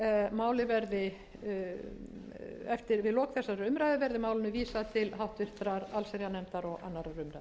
umræðu verði málinu vísað til háttvirtrar allsherjarnefndar og annarrar umræðu